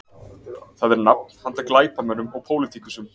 Það er nafn handa glæpamönnum og pólitíkusum